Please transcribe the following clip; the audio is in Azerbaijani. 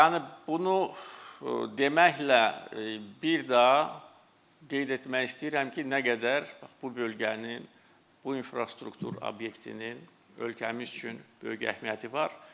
Yəni bunu deməklə bir daha qeyd etmək istəyirəm ki, nə qədər bu bölgəni, bu infrastruktur obyektinin ölkəmiz üçün böyük əhəmiyyəti var.